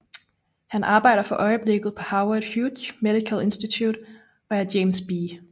Han arbejder for øjeblikket på Howard Hughes Medical Institute og er James B